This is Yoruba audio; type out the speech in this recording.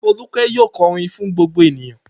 Folúkẹ́ yóò kọrin fún gbogbo ènìyàn.